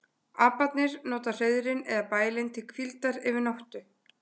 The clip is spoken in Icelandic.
Aparnir nota hreiðrin eða bælin til hvíldar yfir nóttu.